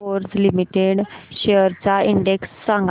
Bharat Forge Limited shares चा index सांगा